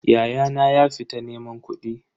Ya'yana ya fita neman kudi.